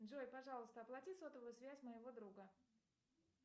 джой пожалуйста оплати сотовую связь моего друга